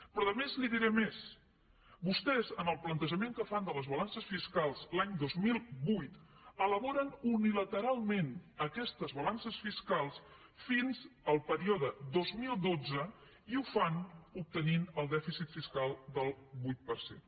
però a més li diré més vostès en el plantejament que fan de les balances fiscals l’any dos mil vuit elaboren unilateralment aquestes balances fiscals fins al període dos mil dotze i ho fan obtenint el dèficit fiscal del vuit per cent